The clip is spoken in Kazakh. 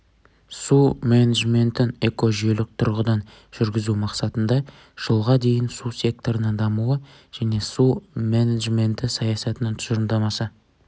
су менеджментін экожүйелік тұрғыдан жүргізу мақсатында жылға дейін су секторының дамуы және су менеджменті саясатының тұжырымдамасы